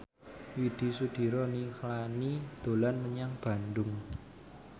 Widy Soediro Nichlany dolan menyang Bandung